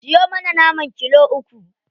Siyo mana naman kilo uku.